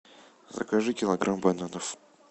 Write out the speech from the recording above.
закажи килограмм бананов